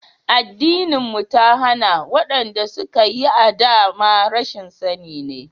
Addinin mu ta hana, wa'yanda suka yi a da ma rashin sani ne.